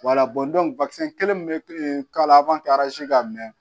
kelen min bɛ k'a la ka mɛn